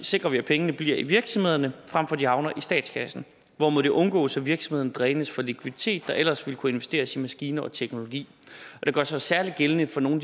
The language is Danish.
sikrer vi at pengene bliver i virksomhederne frem for at de havner i statskassen hvormed det undgås at virksomhederne drænes for likviditet der ellers ville kunne investeres i maskiner og teknologi det gør sig særlig gældende for nogle